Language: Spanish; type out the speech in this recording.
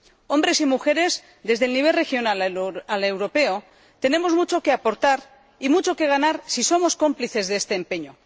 Hombres y mujeres, desde el nivel regional al europeo, tenemos mucho que aportar y mucho que ganar si somos cómplices de este empeño.